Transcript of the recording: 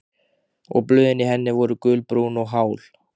Og blöðin í henni voru gulbrún og hál.